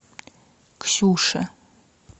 ксюше